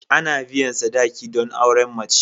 Ana biyan sadaki don auren mace.